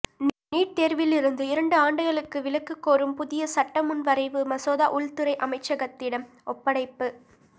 NEET தேர்விலிருந்து இரண்டு ஆண்டுகளுக்கு விலக்கு கோரும் புதிய சட்டமுன்வரைவு மசோதா உள்துறை அமைச்சகத்திடம் ஒப்படைப்பு